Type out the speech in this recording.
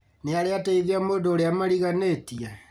Nĩarĩ ateithia mũndũ ũrĩa mariganĩtie?